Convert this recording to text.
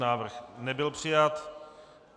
Návrh nebyl přijat.